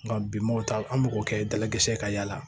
Nka bi m'o ta an b'o kɛ dalakisɛ ka yaala